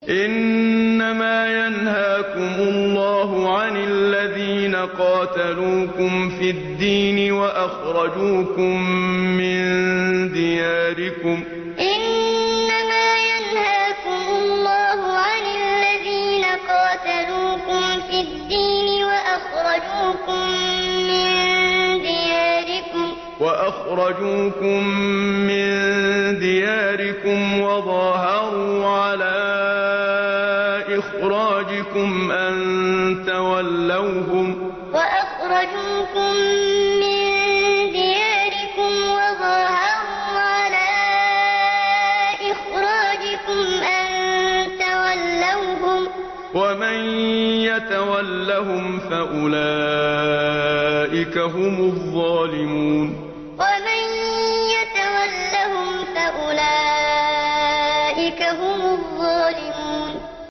إِنَّمَا يَنْهَاكُمُ اللَّهُ عَنِ الَّذِينَ قَاتَلُوكُمْ فِي الدِّينِ وَأَخْرَجُوكُم مِّن دِيَارِكُمْ وَظَاهَرُوا عَلَىٰ إِخْرَاجِكُمْ أَن تَوَلَّوْهُمْ ۚ وَمَن يَتَوَلَّهُمْ فَأُولَٰئِكَ هُمُ الظَّالِمُونَ إِنَّمَا يَنْهَاكُمُ اللَّهُ عَنِ الَّذِينَ قَاتَلُوكُمْ فِي الدِّينِ وَأَخْرَجُوكُم مِّن دِيَارِكُمْ وَظَاهَرُوا عَلَىٰ إِخْرَاجِكُمْ أَن تَوَلَّوْهُمْ ۚ وَمَن يَتَوَلَّهُمْ فَأُولَٰئِكَ هُمُ الظَّالِمُونَ